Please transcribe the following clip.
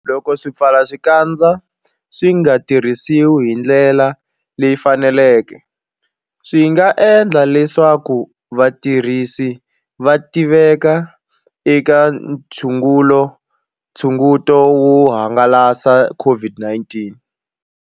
Loko swipfalaxikandza swi nga tirhisiwi hi ndlela leyi faneleke, swi nga endla leswaku vatirhisi va tiveka eka nxungeto wo hangalasa COVID-19.